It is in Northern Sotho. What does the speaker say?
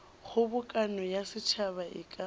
kgobokano ya setšhaba e ka